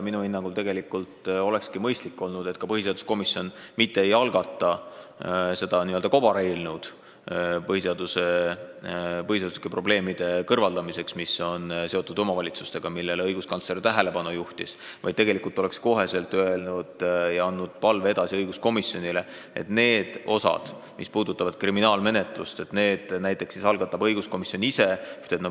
Minu hinnangul olekski mõistlik olnud, kui põhiseaduskomisjon mitte ei oleks algatanud n-ö kobareelnõu, et kõrvaldada omavalitsustega seotud põhiseaduslikke probleeme, millele õiguskantsler tähelepanu juhtis, vaid oleks kohe andnud palve edasi õiguskomisjonile, et nendes osades, mis puudutavad kriminaalmenetlust, algataks muudatuse õiguskomisjon ise.